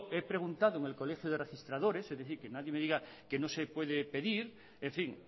he preguntado en el colegio de registradores es decir que nadie me diga que no se puede pedir en fin